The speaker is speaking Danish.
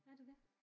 Er det det?